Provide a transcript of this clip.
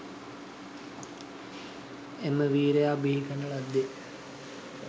එම වීරයා බිහි කරන ලද්දේ